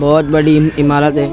बहुत बड़ी इम इमारत है --